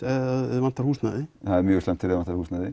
ef þig vantar húsnæði það er mjög slæmt ef þig vantar húsnæði